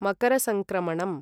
मकरसङ्क्रमणम्